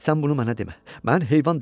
Sən bunu mənə demə, mən heyvan deyiləm.